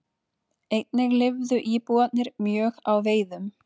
Einnig lifðu íbúarnir mjög á veiðum.